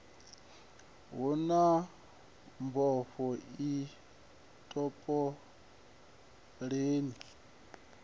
hu na mbofho i topoleni